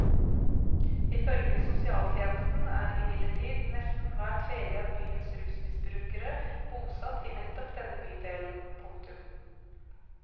Ifølge sosialtjenesten er imidlertid nesten hver tredje av byens rusmisbrukere bosatt i nettopp denne bydelen. punktum